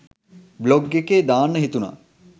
Blog එකේ දාන්න හිතුනා.